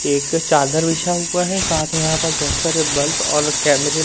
एक चादर बिछा हुआ है साथ में यहां पर बहोत सारे बल्ब और कैमरे --